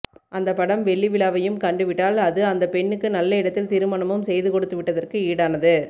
அந்தப் படம் வெள்ளி விழாவையும் கண்டுவிட்டால் அது அந்தப் பெண்ணுக்கு நல்ல இடத்தில் திருமணமும் செய்து கொடுத்துவிட்டதற்கு ஈடானது